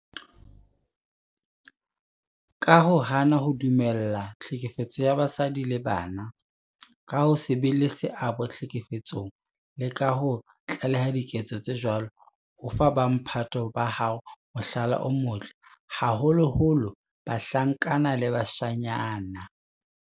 Ka ho hana ho dumella tlhekefetso ya basadi le bana, ka ho se be le seabo tlhekefetsong le ka ho tlaleha diketso tse jwalo, o fa bo mphato ba hao mohlala o motle, haholoholo bahlankana le bashanyana.